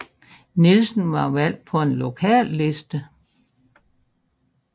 Nielsen var valgt på en lokalliste